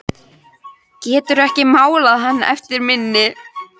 Geturðu ekki málað hann eftir minni?